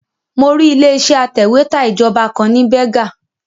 Mo rí ilé iṣẹ́ atẹ̀wẹ́tà ìjọba kan ní Berger